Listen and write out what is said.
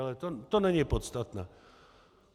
Ale to není podstatné.